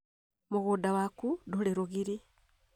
Mũgũnda waku ndũrĩ rũgiri